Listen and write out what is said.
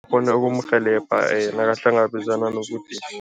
Kghona ukumrhelebha nakahlangabezana